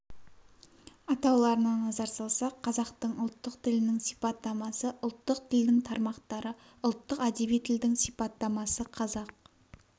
атауларына назар салсақ қазақтың ұлттық тілінің сипаттамасы ұлттық тілдің тармақтары ұлттық әдеби тілдің сипаттамасы қазақ